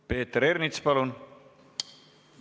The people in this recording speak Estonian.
Peeter Ernits, palun!